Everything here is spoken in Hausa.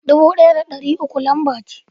Dubu ɗaya da ɗari uku lamba ce.